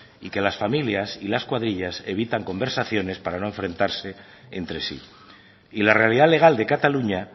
y que las familias y las cuadrillas evitan conversaciones para no enfrentarse entre sí y la realidad legal de cataluña